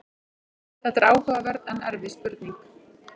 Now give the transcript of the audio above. þetta er áhugaverð en erfið spurning